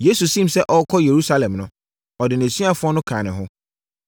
Yesu siim sɛ ɔrekɔ Yerusalem no, ɔde nʼasuafoɔ no kaa ne ho.